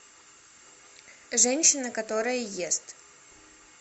женщина которая ест